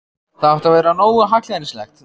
Það átti að vera nógu hallærislegt.